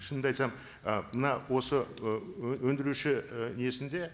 шынымды айтсам і мына осы і өндіруші і несінде